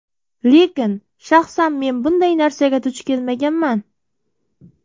Lekin shaxsan men bunday narsaga duch kelmaganman.